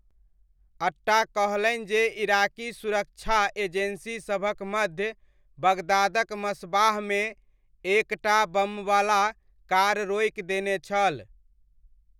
अट्टा कहलनि जे इराकी सुरक्षा एजेन्सीसभक मध्य बगदादक मस्बाहमे, एक टा बमवला कार रोकि देने छल।